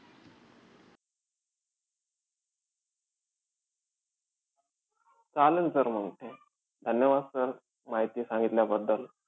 चालेल sir मंग. धन्यवाद sir माहिती सांगितल्याबद्दल.